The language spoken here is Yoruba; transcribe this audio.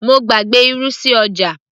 mo gbàgbé irú sí ọjà